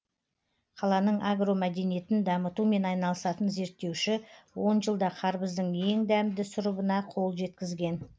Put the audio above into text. қаланың агромәдениетін дамытумен айналысатын зерттеуші он жылда қарбыздың ең дәмді сұрыбына қол жеткізген